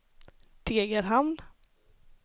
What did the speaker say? Degerhamn